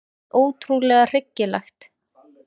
Hreint ótrúlega hryggilegt.